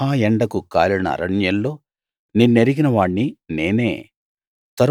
మహా ఎండకు కాలిన అరణ్యంలో నిన్నెరిగిన వాణ్ణి నేనే